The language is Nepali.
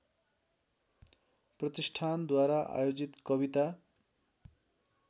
प्रतिष्ठानद्वारा आयोजित कविता